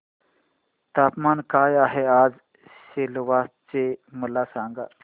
तापमान काय आहे आज सिलवासा चे मला सांगा